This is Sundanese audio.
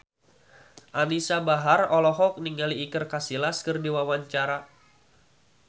Anisa Bahar olohok ningali Iker Casillas keur diwawancara